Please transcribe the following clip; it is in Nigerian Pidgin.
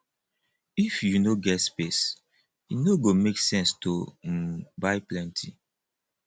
if you no get space e no go make sense to um buy plenty